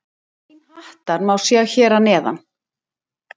Grein Hattar má sjá hér að neðan.